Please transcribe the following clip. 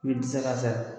U bɛ dɛsɛ k'a fɛɛrɛ